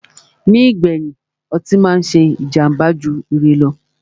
Nígbèyìn, ọtí á máà ṣé jàmbá jù ire lọ.